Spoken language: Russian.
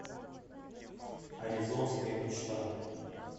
аризонская мечта